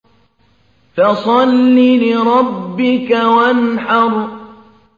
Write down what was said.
فَصَلِّ لِرَبِّكَ وَانْحَرْ